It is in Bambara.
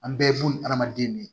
An bɛɛ bo ni adamaden de ye